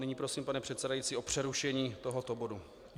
Nyní prosím, pane předsedající, o přerušení tohoto bodu.